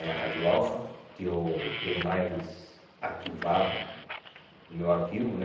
é A Rádio Alfa, que eu tenho mais arquivado no meu arquivo, né?